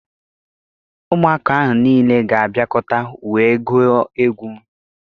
Ụmụaka ahụ niile ga-abịakọta wee gụọ egwu.